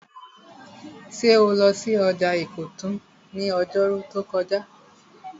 Ṣé o lọ sí ọjà ìkọ̀tún ní ọjọ́rú tó kọjá?